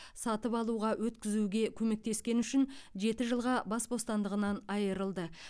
сатып алуға өткізуге көмектескені үшін жеті жылға бас бостандығынан айырылды